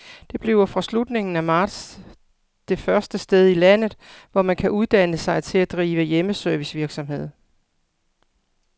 Det bliver fra slutningen af marts det første sted i landet, hvor man kan uddanne sig til at drive hjemmeservicevirksomhed.